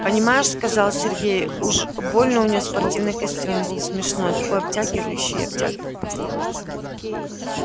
понимаешь сказал сергей уж больно у нее спортивный костюм был смешной такой обтягивающий-обтягивающий